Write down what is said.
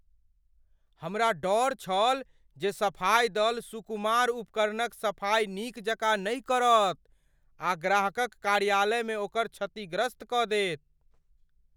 हमरा डर छल जे सफाई दल सुकुमार उपकरणक सफाई नीक जकाँ नहि करत आ ग्राहकक कार्यालयमे ओकरा क्षतिग्रस्त कऽ देत।